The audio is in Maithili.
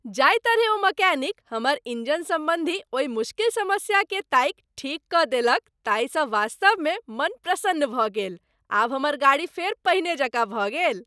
जाहि तरहें ओ मैकेनिक हमर इंजन संबंधी ओहि मुश्किल समस्याकेँ ताकि ठीक कऽ देलक ताहि स वास्तवमे मन प्रसन्न भऽ गेल, आब हमर गाड़ी फेर पहिने जकाँ भऽ गेल।